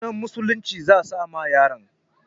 Sunan musulunci za a sa ma yaron.